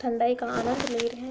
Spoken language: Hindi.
ठंडई का आनंद ले रहे --